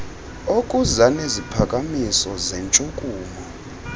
okuza neziphakamiso zentshukumo